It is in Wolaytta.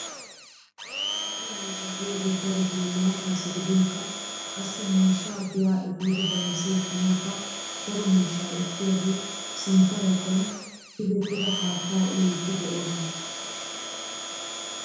Waadu miizzaa yaagiyoogee darottoo maattaasi gidinkka qassi miishshaa giyaa epiidi bayzzi ekkanawukka daro miishshaa ekkiyaagee sintta baggan tigettida haattaa uyiidi de'oosona.